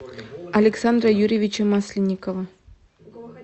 александра юрьевича масленникова